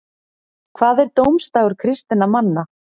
hvað er dómsdagur kristinna manna